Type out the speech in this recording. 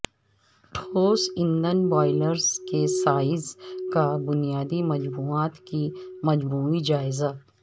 ٹھوس ایندھن بوائیلرز کے سائز کا بنیادی مجموعات کی مجموعی جائزہ